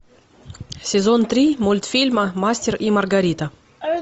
сезон три мультфильма мастер и маргарита